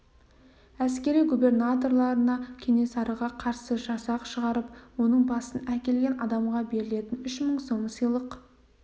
әскери губернаторына кенесарыға қарсы жасақ шығарып оның басын әкелген адамға берілетін үш мың сом сыйлық